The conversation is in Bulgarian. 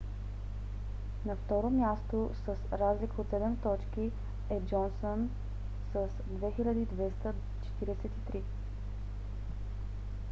на второ място с разлика от седем точки е джонсън с 2243